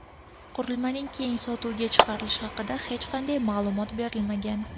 Qurilmaning keng sotuvga chiqarilishi haqida hech qanday ma’lumot berilmagan.